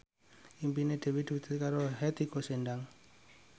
impine Dewi diwujudke karo Hetty Koes Endang